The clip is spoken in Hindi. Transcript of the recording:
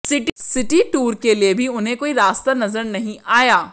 सिटी टूर के लिए भी उन्हें कोई रास्ता नजर नहीं आया